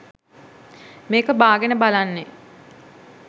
මේක බාගෙන බලන්නේ